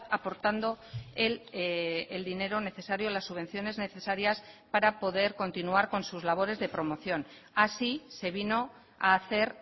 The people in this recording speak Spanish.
aportando el dinero necesario las subvenciones necesarias para poder continuar con sus labores de promoción así se vino a hacer